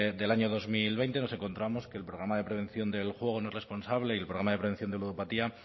del año dos mil veinte nos encontramos que el programa de prevención del juego no responsable y el programa de prevención de ludopatía